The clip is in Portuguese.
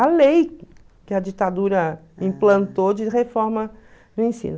A lei que a ditadura implantou de reforma do ensino.